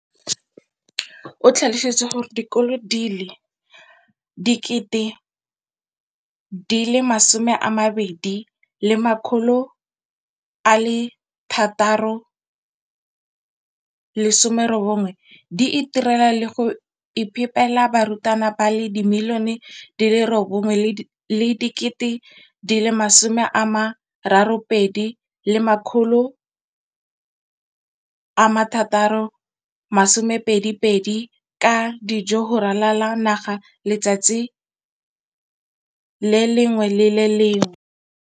o tlhalositse gore dikolo di le 20 619 di itirela le go iphepela barutwana ba le 9 032 622 ka dijo go ralala naga letsatsi le lengwe le le lengwe.